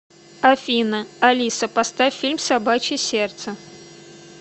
афина алиса поставь фильм собачье сердце